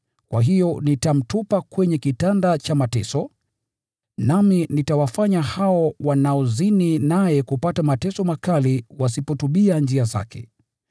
Kwa hiyo nitamtupa kwenye kitanda cha mateso, na nitawafanya hao wanaozini naye kupata mateso makali wasipotubia njia zake.